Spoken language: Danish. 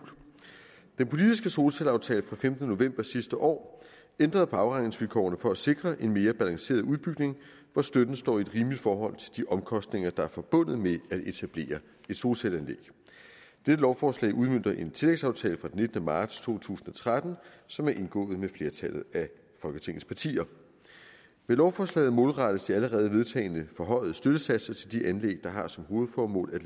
den politiske solcelleaftale fra femtende november sidste år ændrede på afregningsvilkårene for at sikre en mere balanceret udbygning hvor støtten står i et rimeligt forhold til de omkostninger der er forbundet med at etablere et solcelleanlæg dette lovforslag udmønter en tillægsaftale fra den nittende marts to tusind og tretten som er indgået med flertallet af folketingets partier med lovforslaget målrettes de allerede vedtagne forhøjede støttesatser til de anlæg der har som hovedformål at